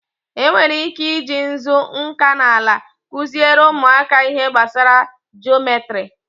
E nwere ike i ji nzu nkanala kụziere ụmụaka ihe gbasara jometri.